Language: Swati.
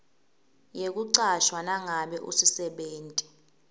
yekucashwa nangabe usisebenti